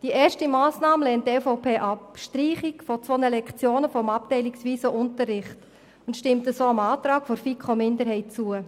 Die erste Massnahme mit der Streichung von zwei Lektionen im abteilungsweisen Unterricht lehnt die EVP ab und stimmt somit dem Antrag der FiKo-Minderheit zu.